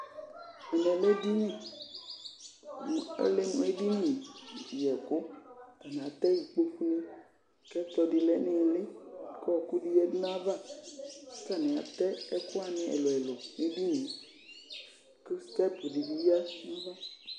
Ɛmɛ lɛ edini kʋ ɔlɛ mʋ edini yɛkʋ Atanɩ atɛ ikpoku kʋ ɛkplɔ dɩ lɛ nʋ ɩɩlɩ kʋ ɔɣɔkʋ dɩ yadu nʋ ayava kʋ atanɩ atɛ ɛkʋ wanɩ ɛlʋ-ɛlʋ nʋ edini yɛ kʋ stɛp dɩ bɩ yǝ nʋ inye